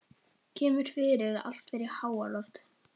Kemur fyrir að allt fer í háaloft.